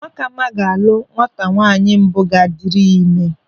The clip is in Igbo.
Nwakama ga-alụ nwata nwaanyị mbụ ga-adịrị ya ịme.